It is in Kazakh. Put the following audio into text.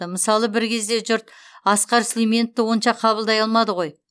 мысалы бір кезде жұрт асқар сүлейменовті онша қабылдай алмады ғой